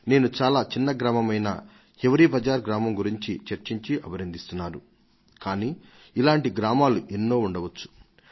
నేను హివ్ రేబజార్ లాంటి చిన్న ఊరిని గురించి చెప్తుండవచ్చు అయితే ఇటువంటి గ్రామాలు ఇంకా ఎన్నో ఉండే ఉంటాయి